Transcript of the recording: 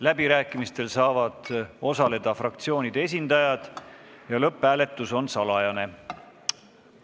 Läbirääkimistel saavad osaleda fraktsioonide esindajad ja lõpphääletus on salajane.